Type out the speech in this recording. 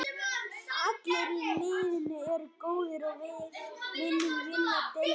Allir í liðinu eru góðir og við viljum vinna deildina.